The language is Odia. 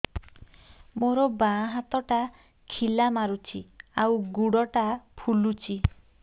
ମୋ ବାଆଁ ହାତଟା ଖିଲା ମାରୁଚି ଆଉ ଗୁଡ଼ ଟା ଫୁଲୁଚି